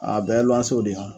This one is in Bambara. Aa bɛɛ luwansew de hɔ